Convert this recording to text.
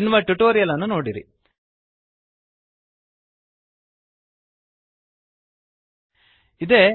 ಎನ್ನುವ ಟ್ಯುಟೋರಿಯಲ್ ನೋಡಿರಿ